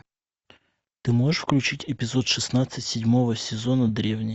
ты можешь включить эпизод шестнадцать седьмого сезона древние